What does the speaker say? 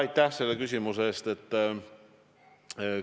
Aitäh selle küsimuse eest!